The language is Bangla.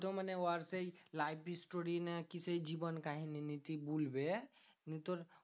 তো মানে ও আর সেই life story না কি সেই জীবন কাহিনী নীতি বলবে। নিয়ে তোর